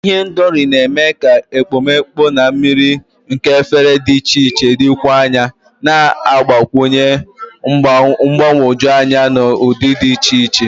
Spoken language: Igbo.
Ihendori na-eme ka ekpomeekpo na mmiri nke efere dị iche iche dịkwuo mma, na-agbakwụnye mgbagwoju anya na ụdị dị iche iche.